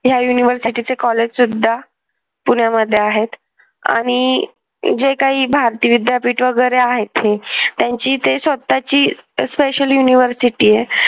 या university चे college सुद्धा पुण्यामध्ये आहेत आणि जे काही भारतीय विद्यापीठ वगैरे आहेत ते त्यांची ते स्वतःची special university आहे.